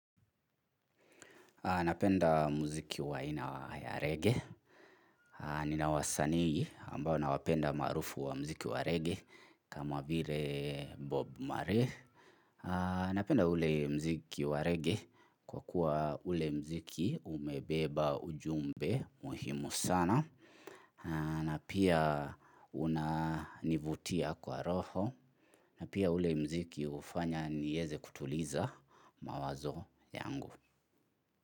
Napenda muziki wa ina ya reggae. Nina wasanii ambao nawapenda marufu wa muziki wa reggae kama vire Bob Marley. Napenda ule muziki wa reggae kwa kuwa ule muziki umebeba ujumbe muhimu sana. Na pia unanivutia kwa roho. Na pia ule muziki ufanya nieze kutuliza mawazo yangu.